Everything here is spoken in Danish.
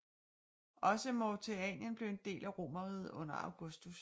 Også Mauretanien blev en del af Romerriget under Augustus